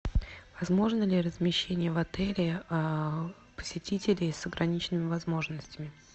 возможно ли размещение в отеле посетителей с ограниченными возможностями